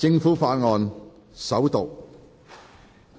政府法案：首讀。